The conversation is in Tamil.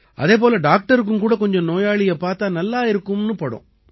அதே போல டாக்டருக்கும் கூட கொஞ்சம் நோயாளியைப் பார்த்தா நல்லாயிருக்கும்னு படும்